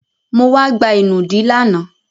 Mo wá gba ìnùdí lánàá.